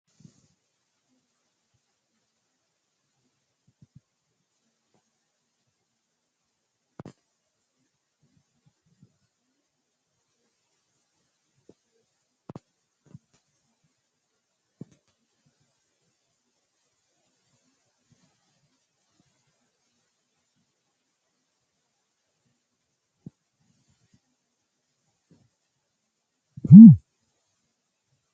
Kuri hiratena hidbate amagnoti leelanno darga ikana qoleno seenu awukato hirate woyi dadalani noota woyi afamanota huwantemo bunxemoha ikinota la'nemo